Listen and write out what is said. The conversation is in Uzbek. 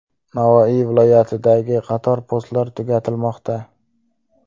Navoiy viloyatidagi qator postlar tugatilmoqda.